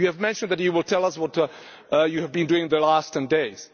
You have mentioned that you will tell us what you have been doing in the past 10 days.